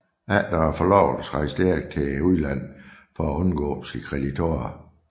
Efter forlovelsen rejste Erik til udlandet for at undgå sine kreditorer